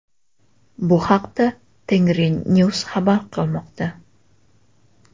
Bu haqda Tengri News xabar qilmoqda .